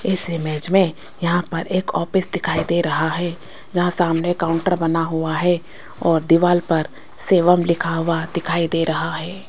इस इमेज में यहां पर एक ऑफिस दिखाई दे रहा है जहां सामने काउंटर बना हुआ है और दीवाल पर सेवम लिखा हुआ दिखाई दे रहा है।